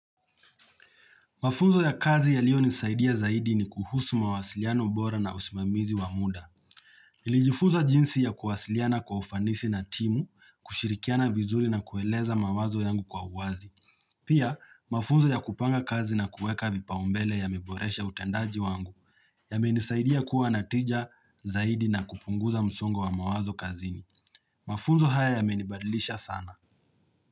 Mafunzo ya kazi yaliyonisaidia zaidi ni kuhusu mawasiliano bora na usimamizi wa muda. Nilijifunza jinsi ya kuwasiliana kwa ufanisi na timu, kushirikiana vizuri na kueleza mawazo yangu kwa uwazi. Pia, mafunzo ya kupanga kazi na kuweka vipau mbele yameboresha utendaji wangu yamenisaidia kuwa na tija zaidi na kupunguza msongo wa mawazo kazini. Mafunzo haya yamenibadlisha sana.